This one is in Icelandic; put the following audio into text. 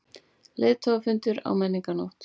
Leiðtogafundur á Menningarnótt